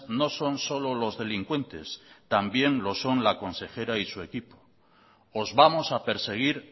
no son solo los delincuentes también lo son la consejera y su equipo os vamos a perseguir